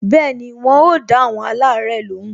Bẹẹni, wọn o da awon alare lóhùn